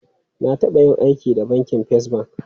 Na taba yin aiki da bankin First Bank.